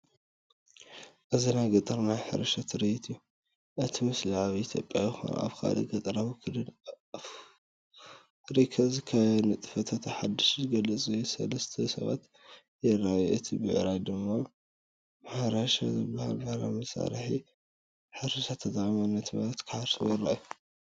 እዚ ናይ ገጠር ናይ ሕርሻ ትርኢት እዩ። እቲ ምስሊ ኣብ ኢትዮጵያ ይኹን ኣብ ካልእ ገጠራዊ ክልል ኣፍሪቃ ዝካየድ ንጥፈታት ሕርሻ ዝገልጽ እዩ። ሰለስተ ሰባት ይረኣዩ፡ ክልተ ብዕራይ "ማ ማሕረሻ)ዝበሃል ባህላዊ መሳርሒ ሕርሻ ተጠቒሞም ነቲ መሬት ክሓርስዎ ይረኣዩ።